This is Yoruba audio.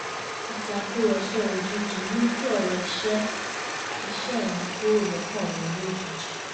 ìtàkùrọ̀sọ òjijì mú kí ọ̀rọ̀ iṣẹ́ iṣẹ́ mi kúrò lọ́kàn mi lójijì